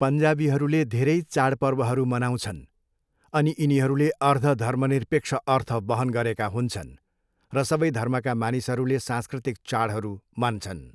पन्जाबीहरूले धेरै चाडपर्वहरू मनाउँछन्, अनि यिनीहरूले अर्ध धर्मनिरपेक्ष अर्थ वहन गरेका हुन्छन् र सबै धर्मका मानिसहरूले सांस्कृतिक चाडहरू मान्छन्।